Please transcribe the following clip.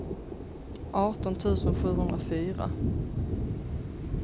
arton tusen sjuhundrafyra